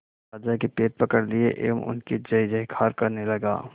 राजा के पैर पकड़ लिए एवं उनकी जय जयकार करने लगा